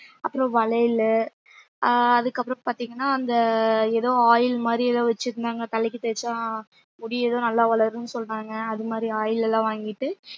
அப்புறம் வளையல் ஆஹ் அதுக்கப்புறம் பாத்தீங்கன்னா அந்த ஏதோ oil மாதிரி ஏதோ வச்சிருந்தாங்க தலைக்கு தேய்ச்சா முடி எதோ நல்லா வளரும்னு சொன்னாங்க அது மாதிரி oil எல்லாம் வாங்கிட்டு